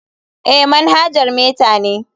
Eh, manhajar meta ne.